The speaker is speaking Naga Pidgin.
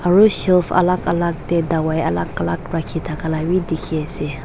aro shelf alak alak tae dawai alak alak rakhithakala bi dikhiase.